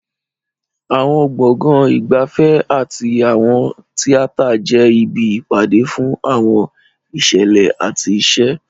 Àwọn gbọ̀ngàn ìgbafẹ́ àti àwọn tíátà jẹ́ ibi ìpàdé fún àwọn ìṣẹ̀lẹ̀ àti ìṣe.